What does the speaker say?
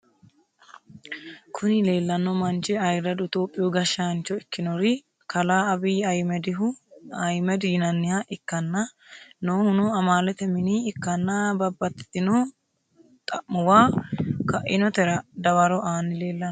Kuni lelano manchi ayiradu itiyophyu gashshnicho ikinori kala abiyi ayimedi yinaniha ikana nohuno amalete mini ikana babtitino xamuuwa kainotera dawwaro ani lelano.